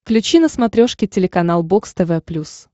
включи на смотрешке телеканал бокс тв плюс